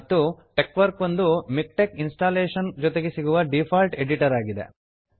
ಮತ್ತು ಟೆಕ್ವರ್ಕ್ ಒಂದು MiKTeX installation ಜೊತೆಗೆ ಸಿಗುವ ಡೀಫಾಲ್ಟ್ ಎಡಿಟರ್ ಆಗಿದೆ